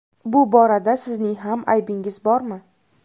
Bu borada sizning ham aybingiz bormi?